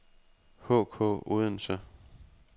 HK Odense